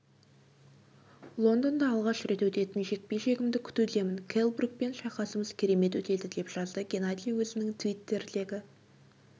лондонда алғаш рет өтетін жекпе-жегімді күтудемін келл брукпен шайқасымыз керемет өтеді деп жазды геннадий өзінің твиттердегі